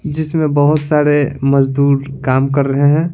जिसमें बहुत सारे मजदूर काम कर रहे हैं।